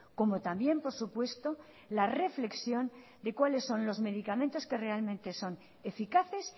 como también por supuesto la reflexión de cuáles son los medicamentos que realmente son eficaces